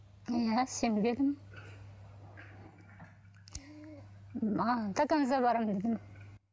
иә сенбедім маған до конца барамын дедім